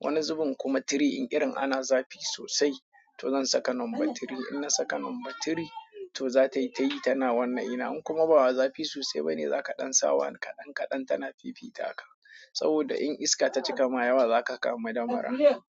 Wani zubin kuma three in irin ana zafi sosai to zan saka number three. In na saka number three to za ta yi ta yi ta na wannan ina. In kuma ba wai zafi sosai bane za ka ɗan sa one kaɗan kaɗan ta na fifita haka. Saboda in iska ta cika mayawa za ka kamu damura.